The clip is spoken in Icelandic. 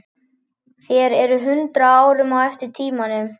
Þér eruð hundrað árum á eftir tímanum.